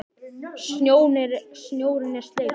Snjórinn er sleipur!